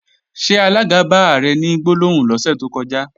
Ṣé alága bá Ààrẹ ní gbólóhùn lọ́sẹ̀ tó kọjá?